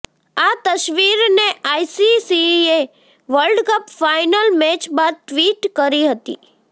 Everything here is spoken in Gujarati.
આ તસવીરને આઈસીસીએ વર્લ્ડકપ ફાઇનલ મેચ બાદ ટ્વિટ કરી હતી